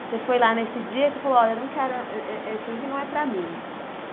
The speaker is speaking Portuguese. Você foi lá nesse dia e você falou, olha, eu não quero, eh eh eh isso aqui não é para mim.